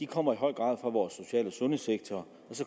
kommer i høj grad fra vores social og sundhedssektor